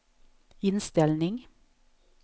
inställning